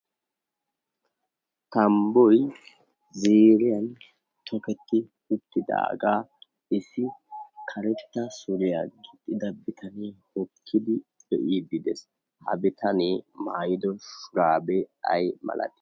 Tambboyi ziriyan toketti uttidaagaa issi karetta suriya gixxida bitanee hokkidi be"iiddi des. Ha bitanee maayido shuraabee ayi malatii?